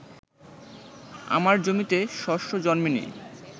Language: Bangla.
আমার জমিতে শস্য জন্মে নি